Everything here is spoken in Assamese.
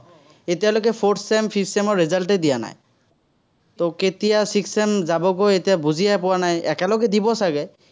এতিয়ালৈকে fourth-sem, fifth-sem ৰ result এই দিয়া নাই। তো কেতিয়া sixth sem যাবগৈ এতিয়া বুজিয়ে পোৱা নাই, একেলগে দিব চাগে।